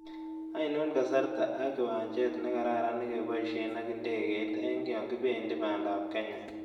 Ainon kasarrta ak kiwanchet ne kararan negeboisien ak ndegeiit eng' yonkibendi pandaap kenya